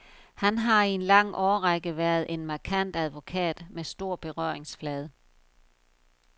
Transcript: Han har i en lang årrække været en markant advokat med stor berøringsflade.